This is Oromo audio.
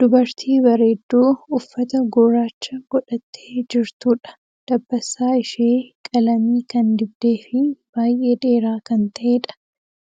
Dubartii bareedduu uffata gurraacha godhattee jirtuudha. Dabbasaa ishee qalamii kan dibdee fii baay'ee dheeraa kan ta'eedha.